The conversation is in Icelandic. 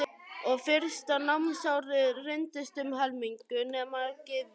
Og á fyrsta námsári reyndist um helmingur nemenda Gyðingar.